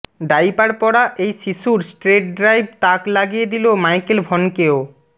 diaper পরা এই শিশুর স্ট্রেট ড্রাইভ তাক লাগিয়ে দিল মাইকেল ভনকেও